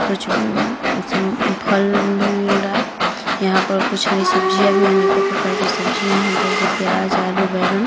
कुछ म्म सम्म फल भी मिल रहा है। यहाँ पर कुछ हरी सब्जियाँ भी अनेकों प्रकार की सब्जियाँ है जैसे प्याज आलू बैंगन।